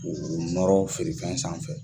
U nɔrɔ feere fɛn sanfɛ.